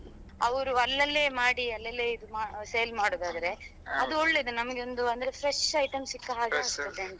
ಅವ್ರು ಅಲ್ಲಲ್ಲೇ ಮಾಡಿ ಅಲ್ಲಲ್ಲೇ ಇದು ಮಾ~ sale ಮಾಡುದಾದ್ರೆ ಅದು ಒಳ್ಳೇದು ನಮ್ಗೆ ಒಂದು ಅಂದ್ರೆ fresh item ಸಿಕ್ಕ ಹಾಗೆ ಆಗ್ತದಂತ.